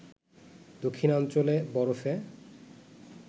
দক্ষিণাঞ্চলে বরফে